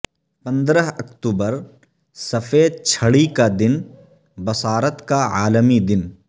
پندرہ اکتوبر سفید چھڑی کا دن بصارت کا عالمی دن